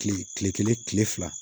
Kile kile kelen kile fila